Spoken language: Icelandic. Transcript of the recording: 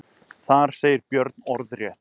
Þar segir Björn orðrétt.